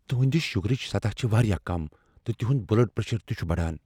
تہنٛد شُگرٕچ سطح چھ واریاہ کم، تہٕ تہنٛد بلڈ پریشر تہ چُھ بڑان۔